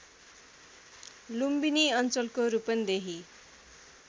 लुम्बिनी अञ्चलको रूपन्देही